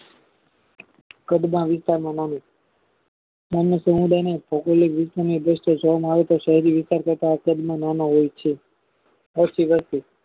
કદમાં વિસાને મણિ ગ્રામ્ય સમુદાયને ભૌગોલિક રીતે ની દ્રષ્ટિ એ જોવામાં આવે તો શેહરી વિસ્તાર કરતા કદમાં નાના હોય છે એસી વસ્તી